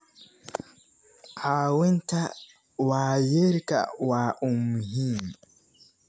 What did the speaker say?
Caawinta waayeelka waa muhiim.